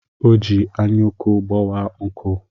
O ji anyụnku gbawaa nkụ.